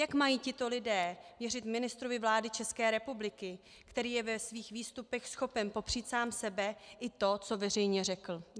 Jak mají tito lidé věřit ministrovi vlády České republiky, který je ve svých výstupech schopen popřít sám sebe i to, co veřejně řekl?